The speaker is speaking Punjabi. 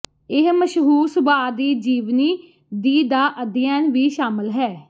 ਇਹ ਮਸ਼ਹੂਰ ਸੁਭਾਅ ਦੀ ਜੀਵਨੀ ਦੀ ਦਾ ਅਧਿਐਨ ਵੀ ਸ਼ਾਮਲ ਹੈ